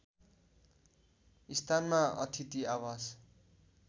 स्थानमा अथिति आवास